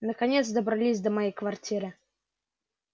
наконец добрались до моей квартиры